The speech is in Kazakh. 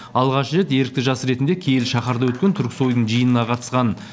алғаш рет ерікті жас ретінде киелі шаһарда өткен түрксойдың жиынына қатысқан